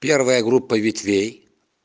первая группа ветвей